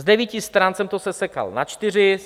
Z devíti stran jsem to sesekal na čtyři.